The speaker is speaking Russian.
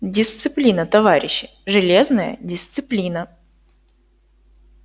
дисциплина товарищи железная дисциплина